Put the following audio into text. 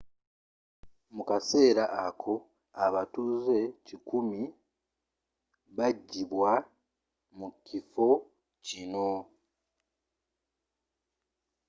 mu kaseera ako abatuuze kikumi 100 bagyibwa mu kifo kino